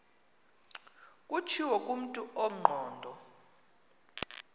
kutshiwo kumntu ongqondo